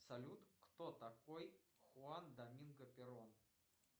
салют кто такой хуан доминго перон